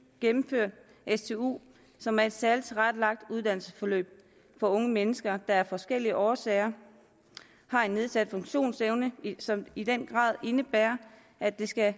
gennemført stu som er et særligt tilrettelagt uddannelsesforløb for unge mennesker der af forskellige årsager har en nedsat funktionsevne som i den grad indebærer at der skal